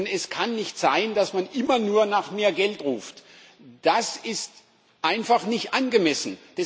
Es kann nicht sein, dass man immer nur nach mehr Geld ruft, das ist einfach nicht angemessen.